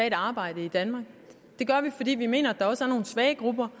et arbejde i danmark det gør vi fordi vi mener at der også er nogle svage grupper